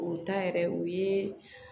O ta yɛrɛ o ye